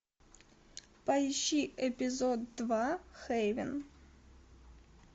поищи эпизод два хейвен